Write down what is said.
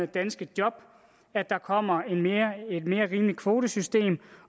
danske job at der kommer et mere rimeligt kvotesystem